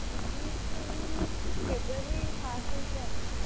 दीदी ସେଇ February first week ରେ ଆସିବେ।